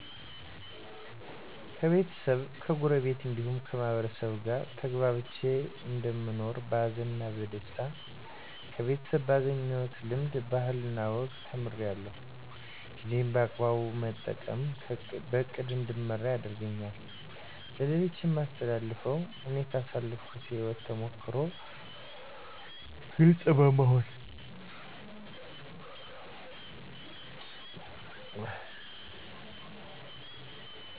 ከቤተሰብ ከጎረቤት እንዲሁም ከማህበረሰቡ ጋር ተግባብቼ እንደምኖር በሀዘንም በደስታ ከቤተሰብ ባገኘሁት ልምድ ባህልና ወግን ተምራለሁ ጊዜ በአግባቡ መጠቀም በእቅድ እንድመራ ያደርገኛል ለሌሎች የማስተላልፈው እኔ ካሳለፍኩት የህይወት ተሞክሮ ግልፅ በመሆን